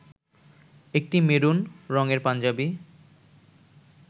একটা মেরুন রংএর পাঞ্জাবি